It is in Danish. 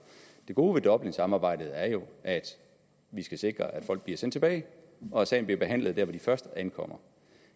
det gode ved dublinsamarbejdet er jo at vi skal sikre at folk bliver sendt tilbage og at sagen bliver behandlet der hvor de først ankommer